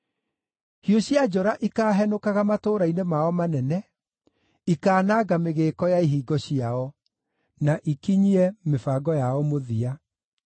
Hiũ cia njora ikaahenũkaga matũũra-inĩ mao manene, ikaananga mĩgĩĩko ya ihingo ciao, na ikinyie mĩbango yao mũthia.